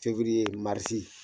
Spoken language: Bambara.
Fewiriye maris.